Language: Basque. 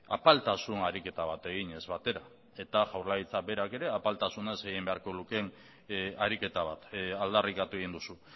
apaltasun ariketa bat eginez batera eta jaurlaritza berak ere apaltasunez egin behar lukeen ariketa bat aldarrikatu egin duzu